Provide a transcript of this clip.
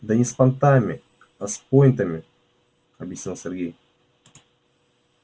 да не с понтами а с пойнтами объяснил сергей